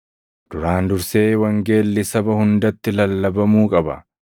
Duraan dursee wangeelli saba hundatti lallabamuu qaba.